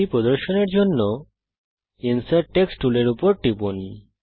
এটি প্রদর্শন করার জন্যে ইনসার্ট টেক্সট টুলের উপর টিপুন